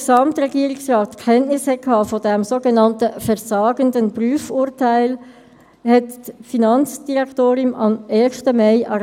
Gestern waren Wahlen und Abstimmungen, in der ganzen Schweiz und speziell auch im Kanton Bern.